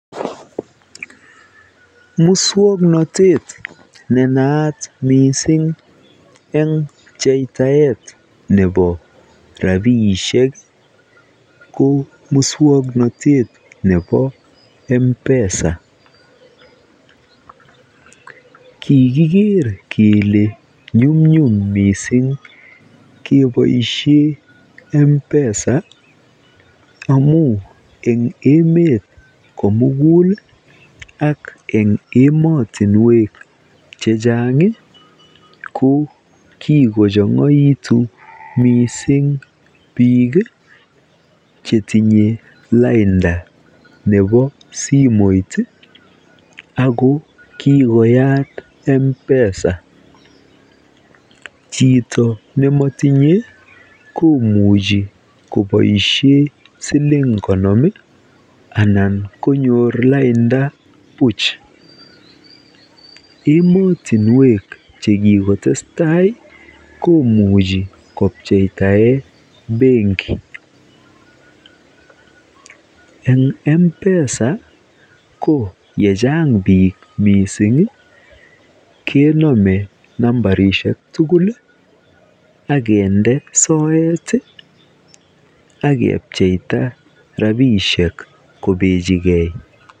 Muswoknotet nenaat missing eng pchetaet nebo rapisiek koo muswoknatet nebo Mpesa kikiker kele nyumnyum missing keboisien mpesa amuu eng emet komugul ak en emotinwek chechang ko kikochongoitu missing biik chetinye lainda nebo simoit ako kikoyat mpesa chito nemotinye komuch koboisien siling konom ii anan konyor lainda buck emotinwek chekikotes tai komuch kopcheita en benki eng mpesa ko yechang biik missing kenome nambarisiek tugul akende soet akepcheita rapisiek kobechikee.